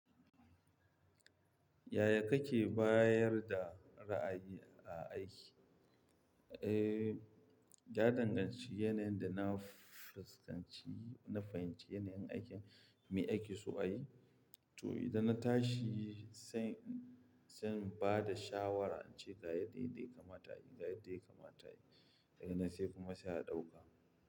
Yaya kake bayar da ra'ayi a aiki? Eh, ya danganci yanayin da na fuskanci, na fahimci yanayin aikin, me aiki so a yi. To, idan na tashi sai, sai in ba da shawara ace ga yadda yadda ya kamata a yi, ga yadda ya kamata a yi. Daganan sai kuma sai a ɗauka.